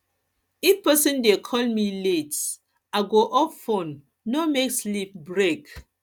if person dey call me late i me late i go off phone no make sleep break